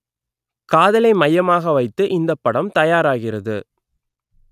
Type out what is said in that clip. காதலை மையமாக வைத்து இந்தப் படம் தயாராகிறது